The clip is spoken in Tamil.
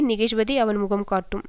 நிகழ்வதை அவன் முகம் காட்டும்